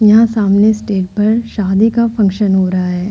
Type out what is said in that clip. यह सामने स्टेज पर शादी का फंक्शन हो रहा है।